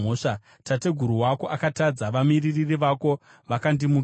Tateguru wako akatadza; vamiririri vako vakandimukira.